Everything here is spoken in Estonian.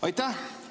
Aitäh!